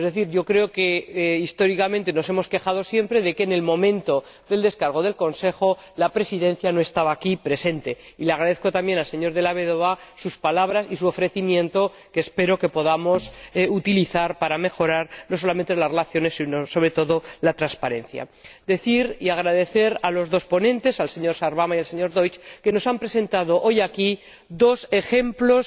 Yo creo que históricamente nos hemos quejado siempre de que, en el momento de la aprobación de la gestión del Consejo, la Presidencia no estaba aquí presente, y le agradezco también al señor Della Vedova sus palabras y su ofrecimiento, que espero podamos utilizar para mejorar no solamente las relaciones sino sobre todo la transparencia. Quiero decir —y agradecer— a los dos ponentes, al señor Sarvamaa y al señor Deutsch, que nos han presentado hoy aquí dos ejemplos